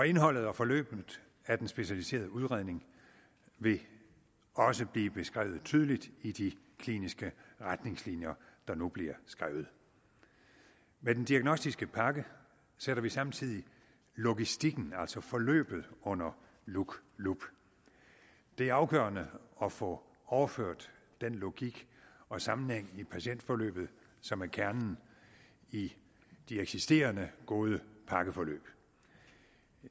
indholdet og forløbet af den specialiserede udredning vil også blive beskrevet tydeligt i de kliniske retningslinjer der nu bliver skrevet med den diagnostiske pakke sætter vi samtidig logistikken altså forløbet under lup lup det er afgørende at få overført den logik og sammenhæng i patientforløbet som er kernen i de eksisterende gode pakkeforløb